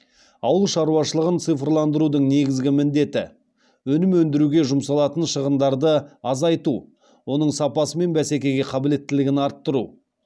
ауыл шаруашылығын цифландырудың негізгі міндеті өнім өндіруге жұмсалатын шығындарды азайту оның сапасы мен бәсекеге қабілеттілігін арттыру